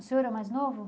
O senhor é mais novo?